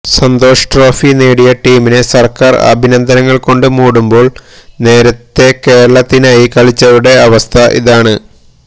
Santhosh Trophy നേടിയ ടീമിനെ സര്ക്കാര് അഭിനന്ദനങ്ങള്കൊണ്ട് മൂടുമ്പോള് നേരത്തേ കേരളത്തിനായി കളിച്ചവരുടെ അവസ്ഥ ഇതാണ്